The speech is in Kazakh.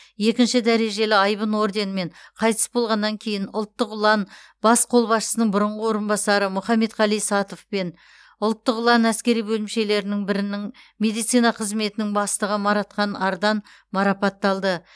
екінші дәрежелі айбын орденімен қайтыс болғаннан кейін ұлттық ұлан бас қолбасшысының бұрынғы орынбасары мұхаметқали сатов пен ұлттық ұлан әскери бөлімшелерінің бірінің медицина қызметінің бастығы маратхан ардан марапатталды